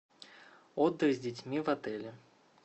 отдых с детьми в отеле